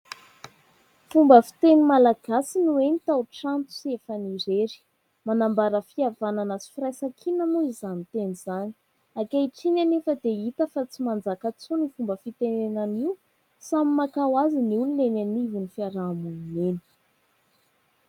Fomba fiteny malagasy no hoe : "tao trano sy efany irery" manambara fihavanana sy firaisan-kina moa izany teny izany ; ankehitriny anefa dia hita fa tsy manjaka intsony io fomba fitenenana io samy maka ho azy ny olona eny anivon'ny fiaraha-monina eny.